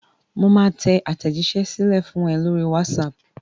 Mo máa tẹ àtẹ̀jíṣẹ́ sílẹ̀ fún ẹ lórí whatsapp.